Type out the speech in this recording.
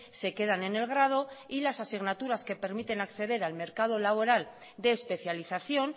se quedan en el grado y las asignaturas que permiten acceder al mercado laboral de especialización